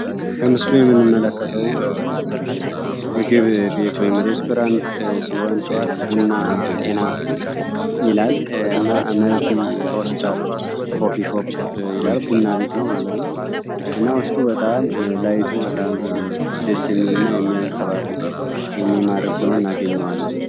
በምስሉ የምንመለከተ ቡና ቤት ሲሆን ቡና ጤና ይላል ቡና ቤት ነው ማለት ነው